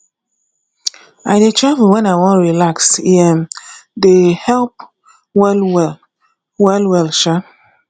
i dey travel wen i wan relax e um dey help wellwell wellwell um